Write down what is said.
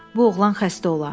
Bu oğlan xəstə ola.